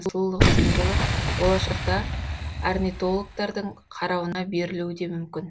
сұлулық символы болашақта орнитологтардың қарауына берілуі де мүмкін